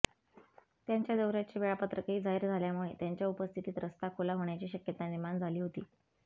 त्यांच्या दौऱ्याचे वेळापत्रकही जाहीर झाल्यामुळे त्यांच्या उपस्थितीत रस्ता खुला होण्याची शक्यता निर्माण झाली होती